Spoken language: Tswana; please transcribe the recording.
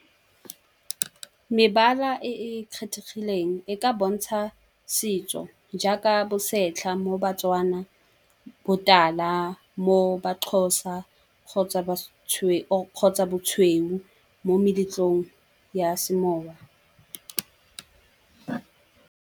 Mebala e e kgethegileng e ka bontsha setso jaaka bosetlha, mo ba-Tswana botala mo ba-Xhosa kgotsa bosweu mo meletlong ya semoya.